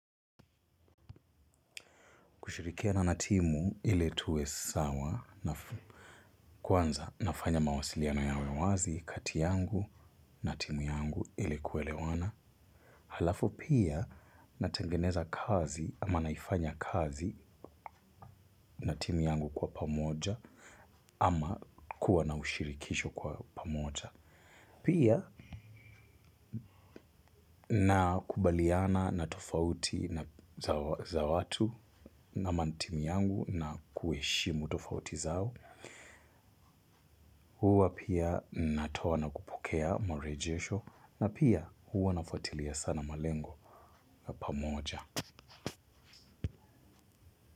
Kushirikiana na timu ile tuwe sawa na kwanza nafanya mawasiliano yawewazi kati yangu na timu yangu ile kuelewana. Halafu pia natengeneza kazi ama naifanya kazi na timu yangu kwa pamoja ama kuwa na ushirikisho kwa pamoja. Pia na kubaliana na tofauti za watu ama ni timu yangu na kueshimu tofauti zao. Huwa pia natoa nakupokea marejesho na pia huwa nafuatilia sana malengo ya pamoja.